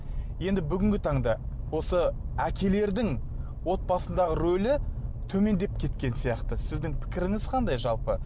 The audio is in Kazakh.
енді бүгінгі таңда осы әкелердің отбасындағы рөлі төмендеп кеткен сияқты сіздің пікіріңіз қандай жалпы